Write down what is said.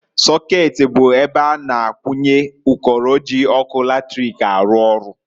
Sokeeti bụ ebe a na-akwụnye ụkọrọ ji ọkụ latric arụ ọrụ.